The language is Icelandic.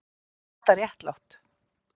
Var þetta réttlátt?